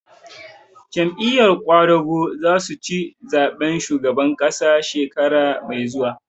Jam'iyar ƙwadago za su ci zaɓen shugaban ƙasa shekara mai zuwa